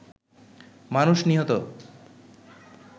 মানুষ নিহত